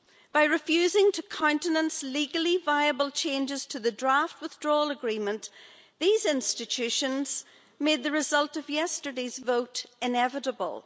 By refusing to countenance legally viable changes to the draft withdrawal agreement, these institutions made the result of yesterday's vote inevitable.